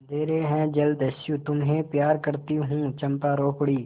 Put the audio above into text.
अंधेर है जलदस्यु तुम्हें प्यार करती हूँ चंपा रो पड़ी